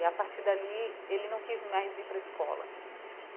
E a partir dali, ele não quis mais ir para a escola.